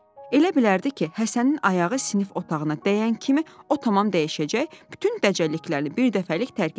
Elə bilərdi ki, Həsənin ayağı sinif otağına dəyən kimi o tamam dəyişəcək, bütün dəcəlliklərini bir dəfəlik tərk edəcək.